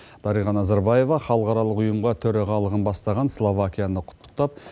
дариға назарбаева халықаралық ұйымға төрағалығын бастаған словакияны құттықтап